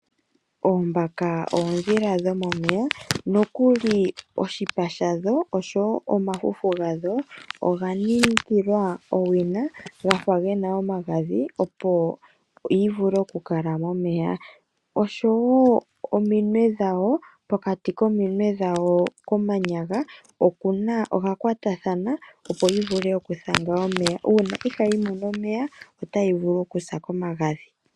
Oombaka oondhila dhomomeya nokuli oshipa shadho oshowo omafufu gadho oga ningilwa owina gafa gena omagadhi opo dhivule okukala momeya, oshowo ominwe dhawo odha kwatathana opo dhivule okuthanga omeya. Uuna ihayi mono omeya otayi vulu okusa komagadhi.